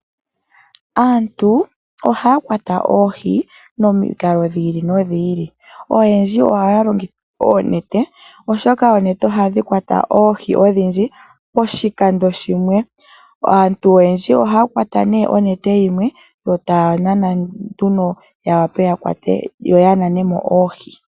Aantu oha ya kwata oohii momikalo dhi ili nodhi ili. Oyendji oha ya longitha oonete, oshoka oonete ohadhi kwata oohi odhindji poshikando shimwe. Aantu oyendji oha ya kwata nee onete yimwe yo taa nana nduno ya wape yakwate yo ya nane mo oohi.